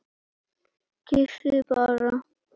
Kyssi bara.